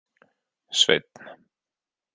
Sveinn